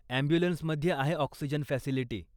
ॲम्ब्युलन्समध्ये आहे oxygen facility.